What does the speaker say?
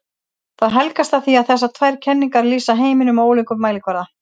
Það helgast af því að þessar tvær kenningar lýsa heiminum á ólíkum kvarða.